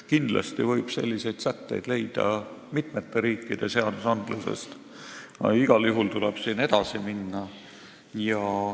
Kindlasti võib selliseid sätteid leida mitmete riikide seadustest, aga igal juhul tuleb siin edasi minna.